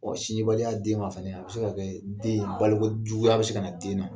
Sindibaliya den ma fana a bɛ se ka kɛ den balokojuguya bɛ se ka na den na